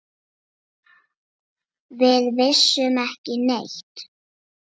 Við vissum ekki neitt.